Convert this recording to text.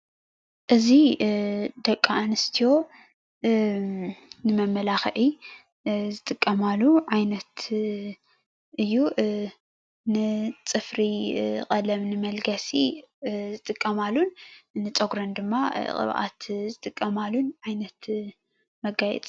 እዙይ ደቂ ኣንስትዮ ንመመላክዒ ዝጥቀማሉ ዓይነት እዩ። ንፅፍሪ ቀለም ንመልገሲ ዝጥቀማሉን ንፀጉሪ ድማ ቅብኣት ዝጥቀማሉን ዓይነት መጋየፂ እዩ።